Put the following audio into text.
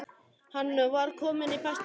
Hann var kominn í besta skap.